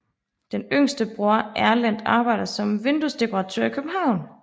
Den yngste bror Erlend arbejder som vinduesdekoratør i København